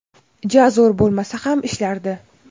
ja zo‘r bo‘lmasa ham ishlardi.